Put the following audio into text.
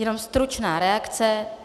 Jenom stručná reakce.